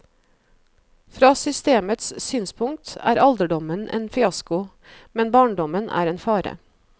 Fra systemets synspunkt er alderdommen en fiasko, men barndommen er en fare.